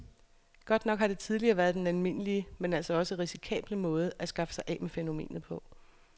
Godt nok har det tidligere været den almindelige, men altså også risikable måde at skaffe sig af med fænomenet på.